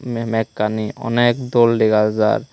memekkani onek dol dega jar.